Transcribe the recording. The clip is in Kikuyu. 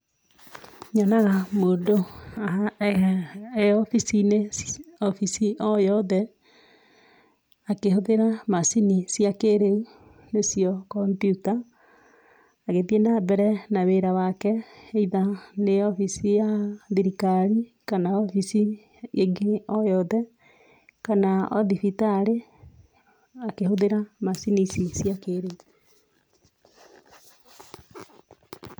Nyonaga mũndũ e obici-inĩ obici o yothe akĩhũthĩra macini cia kĩrĩu nĩcio kompyuta, agĩthiĩ nambere na wĩra wake either nĩ obici ya thirikari kana obici ĩngĩ o yothe, kana o thibitarĩ akĩhũthĩra macini ici cia kĩrĩu.